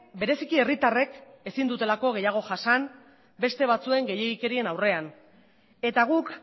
bereziki herritarrek ezin dutelako gehiago jasan beste batzuen gehiegikerien aurrean eta guk